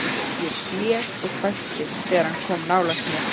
Ég blés og hvæsti þegar hann kom nálægt mér.